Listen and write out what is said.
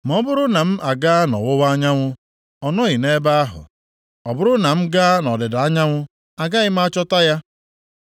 “Ma ọ bụrụ na m agaa nʼọwụwa anyanwụ ọ nọghị nʼebe ahụ; ọ bụrụ na m gaa nʼọdịda anyanwụ, agaghị m achọta ya.